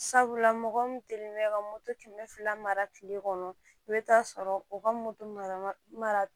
Sabula mɔgɔ min te ka moto kɛmɛ fila mara mara kile kɔnɔ i bɛ taa sɔrɔ u ka moto mara